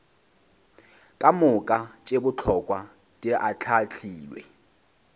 kamoka tše bohlokwa di ahlaahlilwe